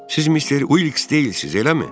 Siz Mister Uliks deyilsiz, eləmi?